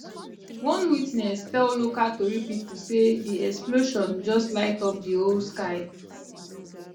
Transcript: one witness tell local tori pipo say di explosion just light up di whole sky